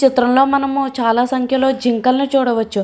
ఈ చిత్రంలో మనం చాలా సంఖ్యలో ఉన్న జింకలను చూడవచ్చు.